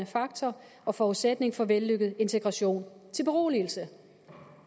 faktor og forudsætning for en vellykket integration til beroligelse